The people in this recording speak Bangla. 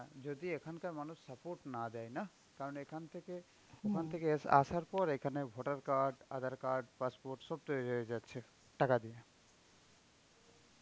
যদি এখানকার মানুষ support না দেয় নাহঃ, কারণ এখান থেকে ওখান থেকে এসে, আসার পর এখানে voter card, Aadhaar card, passport সব তৈরি হয়ে যাচ্ছে, টাকা দিয়ে.